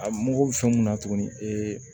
A mago bɛ fɛn mun na tuguni ee